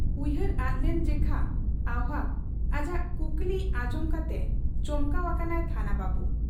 ᱩᱭᱦᱟᱹᱨᱮ ᱟᱫᱞᱮᱱ ᱡᱮᱠᱷᱟ ᱟᱹᱣᱦᱟᱹᱠ ᱟᱡᱟᱜ ᱠᱩᱠᱞᱤ ᱟᱸᱡᱚᱢ ᱠᱟᱛᱮ ᱪᱚᱢᱠᱟᱣ ᱟᱠᱟᱱᱟᱭ ᱛᱷᱟᱱᱟ ᱵᱟᱹᱵᱩ ᱾